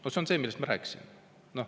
No see on see, millest ma rääkisin.